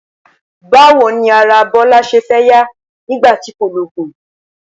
Báwo ni ara Bó̩lá s̩e fé̩ yá nígbà tí kò loògùn?